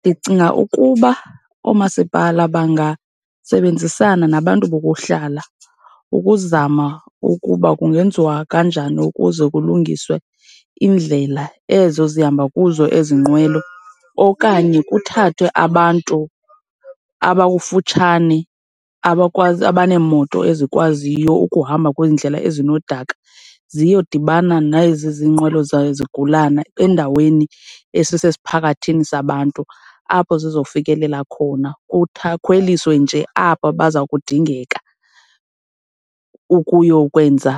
Ndicinga ukuba oomasipala bangasebenzisana nabantu bokuhlala ukuzama ukuba kungenziwa kanjani ukuze kulungiswe iindlela ezo zihamba kuzo ezi nqwelo. Okanye kuthathwe abantu abakufutshane abaneemoto ezikwaziyo ukuhamba kwiindlela ezinodaka ziyodibana nezi izinqwelo zezigulane endaweni esisesiphakathini sabantu apho zizofikelela khona khweliswe nje aba baza kudingeka ukuyokwenza,